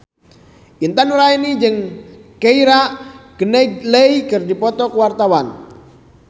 Intan Nuraini jeung Keira Knightley keur dipoto ku wartawan